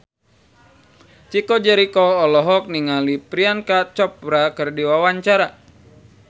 Chico Jericho olohok ningali Priyanka Chopra keur diwawancara